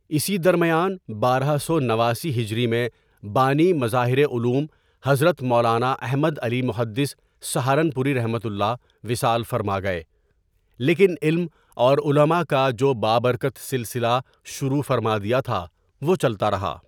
اسی درمیان بارہ سو نواسی ہجری میں بانی مظاہرعلوم حضرت مولانا احمدعلی محدث سہارنپوریؒ وصال فرما گئے لیکن علم اورعلماء کاجو بابرکت سلسلہ شروع فرما دیا تھا وہ چلتارہا.